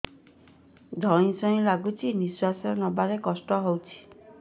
ଧଇଁ ସଇଁ ଲାଗୁଛି ନିଃଶ୍ୱାସ ନବା କଷ୍ଟ ହଉଚି